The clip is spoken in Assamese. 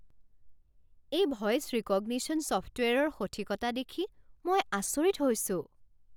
এই ভইচ ৰিকগনিশ্যন ছফ্টৱেৰৰ সঠিকতা দেখি মই আচৰিত হৈছোঁ।